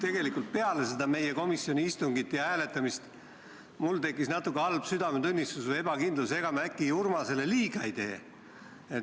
Aga peale seda komisjoni istungit ja hääletamist tekkis mul nagu must südametunnistus või ebakindlus, et ega me äkki Urmasele liiga ei tee.